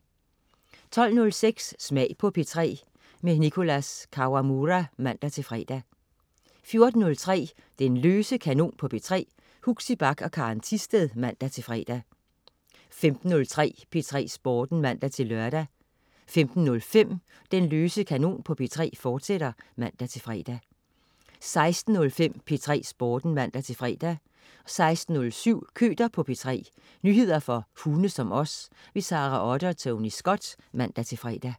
12.06 Smag på P3. Nicholas Kawamura (man-fre) 14.03 Den løse kanon på P3. Huxi Bach og Karen Thisted (man-fre) 15.03 P3 Sporten (man-lør) 15.05 Den løse kanon på P3, fortsat (man-fre) 16.05 P3 Sporten (man-fre) 16.07 Køter på P3. Nyheder for hunde som os. Sara Otte og Tony Scott (man-fre)